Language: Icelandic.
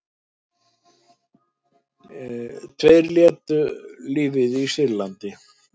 Tveir létu lífið í Sýrlandi